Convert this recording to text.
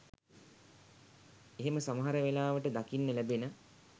එහෙම සමහර වෙලාවට දකින්න ලැබෙන